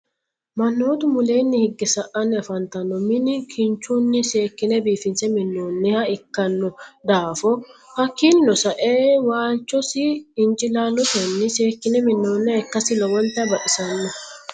manootu muleenni higge sa'anni afanitanno minni kinichunni seekine biifinse minooniha ikinno daafo hakininno sa'e waalichosi inicilaalottenni seekine minooniha ikasinni lowonita baxisanno.